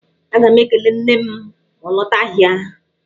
Aga m ekele nne m ma ọ lọta ahịa.